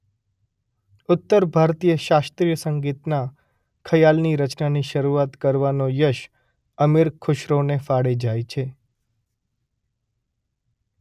ઉત્તર ભારતીય શાસ્ત્રીય સંગીતના ખયાલની રચનાની શરૂઆત કરવાનો યશ અમીર ખુશરોને ફાળે જાય છે.